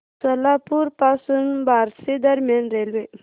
सोलापूर पासून बार्शी दरम्यान रेल्वे